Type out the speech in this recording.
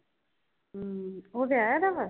ਹਮ ਓ ਤੇ ਆਯਾ ਦਾ